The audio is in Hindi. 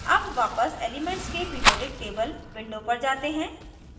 अब वापस एलीमेन्ट्स के पिरीऑडिक table window पर जाते हैं